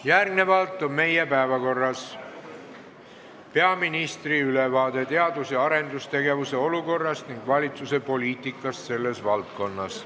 Järgnevalt on meie päevakorras peaministri ülevaade teadus- ja arendustegevuse olukorrast ning valitsuse poliitikast selles valdkonnas.